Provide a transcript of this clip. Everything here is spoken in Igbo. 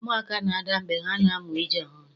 Ụmụaka na-ada mgbe ha na-amụ ije ọhụrụ.